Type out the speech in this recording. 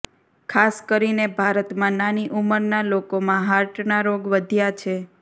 ખાસ કરીને ભારતમાં નાની ઉંમરના લોકોમાં હાર્ટના રોગ વધ્યા છે